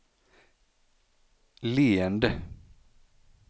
leende